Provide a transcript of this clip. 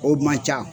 O man ca